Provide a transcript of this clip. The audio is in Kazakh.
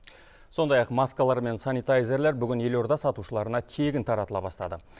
сондай ақ маскалар мен санитайзерлер бүгін елорда сатушыларына тегін таратыла бастады